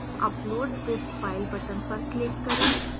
upload this file button पर click करें